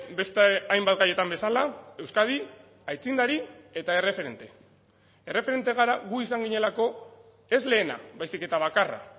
beste hainbat gaietan bezala euskadi aitzindari eta erreferente erreferente gara gu izan ginelako ez lehena baizik eta bakarra